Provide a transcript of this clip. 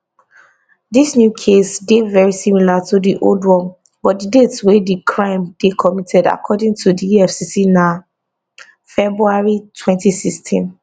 dis new case dey very similar to di old one but di date wey di crime dey committed according to di efcc na february 2016